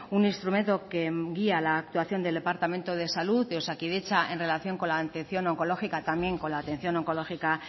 un instrumento que envía la actuación del departamento de salud de osakidetza en relación con la atención oncológica también con la atención oncológica